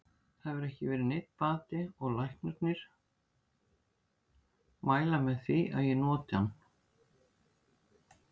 Það hefur ekki verið neinn bati og læknarnir mæla með því að ég noti hann.